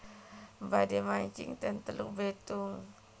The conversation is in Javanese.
Badhe mancing ten Teluk Betung